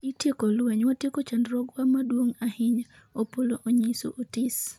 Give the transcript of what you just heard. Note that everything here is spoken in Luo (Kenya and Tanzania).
Itieko lweny, watieko chandruogwa maduong' ahinya ,Opollo onyiso Otis